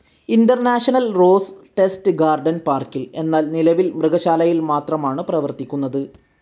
International rose test garden പാർക്കിൽ, എന്നാൽ നിലവിൽ മൃഗശാലയിൽ മാത്രമാണ് പ്രവർത്തിക്കുന്നത്.